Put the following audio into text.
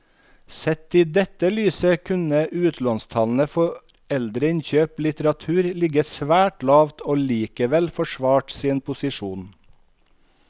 Sett i dette lyset kunne utlånstallene for eldre innkjøpt litteratur ligget svært lavt og likevel forsvart sin posisjon.